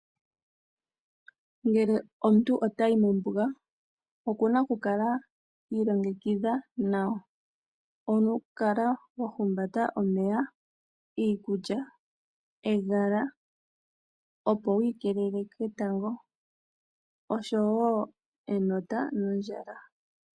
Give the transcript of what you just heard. Ngele omuntu otayi mombuga okuna okukala iilongekidha nawa, okukala wahumbata omeya, iikulya , ehala opo wiikelele ketango oshowoo enota nondjala.